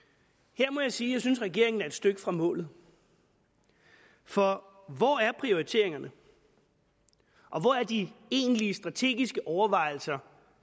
her må jeg sige at jeg synes regeringen er et stykke fra målet for hvor er prioriteringerne og hvor er de egentlige strategiske overvejelser